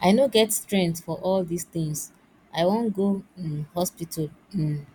i no get strength for all dis things i wan go um hospital um